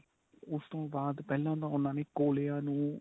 ਉਸ ਤੋ ਬਾਅਦ ਪਹਿਲਾਂ ਉਨ੍ਹਾਂ ਨੇ ਕੋਲਿਆ ਨੂੰ